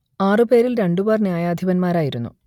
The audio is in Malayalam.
ആറു പേരിൽ രണ്ടുപേർ ന്യായാധിപന്മാരായിരുന്നു